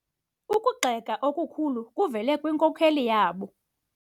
Ukugxeka okukhulu kuvele kwinkokeli yabo.